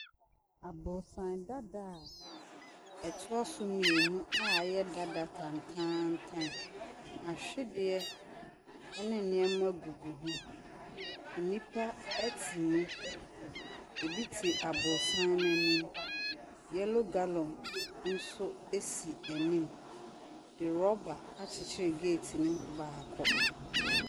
Aborosan dadaa a ɛtoa so mmienu a ɛyɛ dada tantaantan. Ahwedeɛ ne nneɛma gugu mu. Nnipa te mu. Ebi te aborosan no anim. Yellow gallon nso si anim. Nrɔba akyekyere geeti no baako.